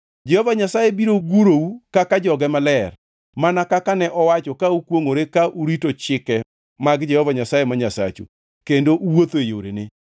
Jehova Nyasaye biro gurou kaka joge maler, mana kaka ne owacho ka okwongʼore, ka urito chike mag Jehova Nyasaye ma Nyasachu kendo uwuotho e yorene.